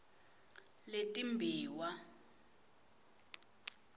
letimbiwa